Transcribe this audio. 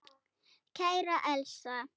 Kæra Elsa.